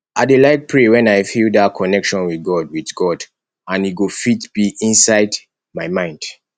i dey like pray wen i feel dat connection with god with god and e go fit be inside my mind